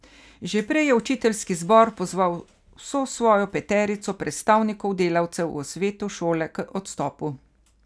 Že prej je učiteljski zbor pozval vso svojo peterico predstavnikov delavcev v svetu šole k odstopu.